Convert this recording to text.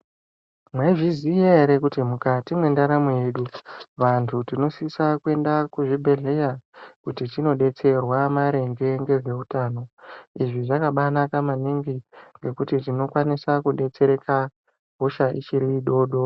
Mwaizviziya ere kuti mukati mendaramo yedu vanthu tinosisa kuenda kuzvibhedhleya kuti tindodetserwa maringe ngezveutano, izvi zvakabaanaka maningi ngekuti tinokwanisa kudetsereka hosha ichiri dodori.